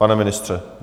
Pane ministře?